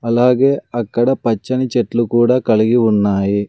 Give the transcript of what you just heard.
అలాగే అక్కడ పచ్చని చెట్లు కూడా కలిగి ఉన్నాయి.